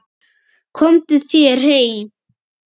Komdu þér heim!